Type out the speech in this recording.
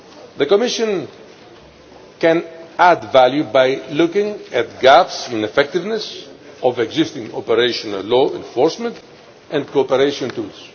The Commission can add value by looking at gaps in the effectiveness of existing operational law enforcement and cooperation tools.